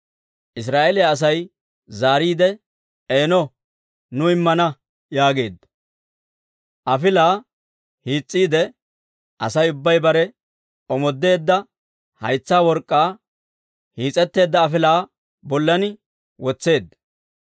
Israa'eeliyaa Asay zaariide, «Eeno, nu immana» yaageedda. Afilaa hiis's'iide Asay ubbay bare omoodeedda haytsa work'k'aa hiis'etteedda afilaa bollan wotseedda.